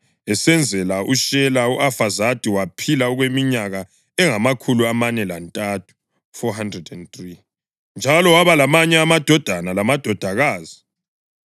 Esezele uShela, u-Afazadi waphila okweminyaka engamakhulu amane lantathu (403), njalo waba lamanye amadodana lamadodakazi.